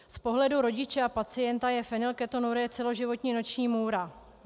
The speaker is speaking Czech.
Z pohledu rodiče a pacienta je fenylketonurie celoživotní noční můra.